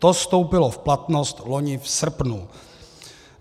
To vstoupilo v platnost loni v srpnu.